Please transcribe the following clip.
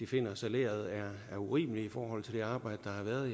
finder salæret urimeligt i forhold til det arbejde der har været